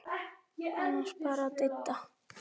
Annars bara Didda.